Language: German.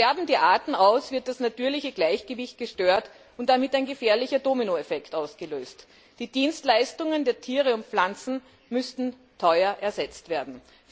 Sterben die Arten aus, wird das natürliche Gleichgewicht gestört und damit ein gefährlicher Dominoeffekt ausgelöst. Die Dienstleistungen der Tiere und Pflanzen müssten teuer ersetzt werden.